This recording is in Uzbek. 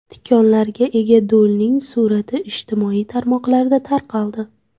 Tikonlarga ega do‘lning surati ijtimoiy tarmoqlarda tarqaldi.